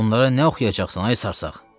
onlara nə oxuyacaqsan, ay sarsaq?